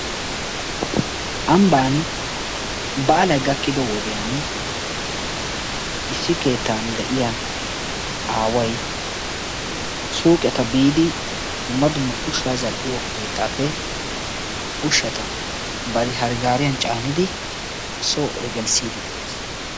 Ambban baalay gaakido wodiyaan issi keettan de'iyaa aaway suyqqetta biidi dumma dumma ushsa zal''iyo keettappe ushshata bari hare gaariya caanidi soo eehi gelisside de'ees.